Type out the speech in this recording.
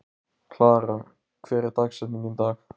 Klara, hver er dagsetningin í dag?